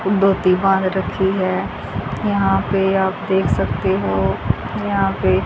धोती बांध रखी है यहां पे आप देख सकते हो यहां पे--